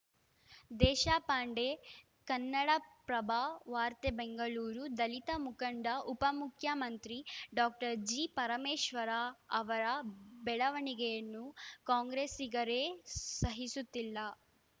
ದೇಶಪಾಂಡೆ ಕನ್ನಡಪ್ರಭ ವಾರ್ತೆ ಬೆಂಗಳೂರು ದಲಿತ ಮುಖಂಡ ಉಪಮುಖ್ಯಮಂತ್ರಿ ಡಾಕ್ಟರ್ ಜಿಪರಮೇಶ್ವರ ಅವರ ಬೆಳವಣಿಗೆಯನ್ನು ಕಾಂಗ್ರೆಸ್ಸಿಗರೇ ಸಹಿಸುತ್ತಿಲ್ಲ